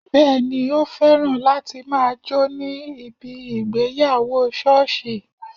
Bẹẹni, o féràn láti máa jó ní ibi ìgbéyàwó sọ́ọ̀sì